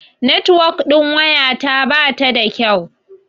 Netuwok ɗin waya ta bata da kyau.